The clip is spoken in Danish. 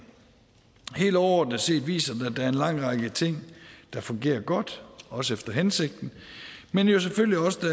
helt overordnet set viser den at der er en lang række ting der fungerer godt også efter hensigten men jo selvfølgelig også